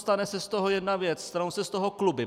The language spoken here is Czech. Stane se z toho jedna věc - stanou se z toho kluby.